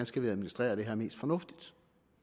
skal administrere det her mest fornuftigt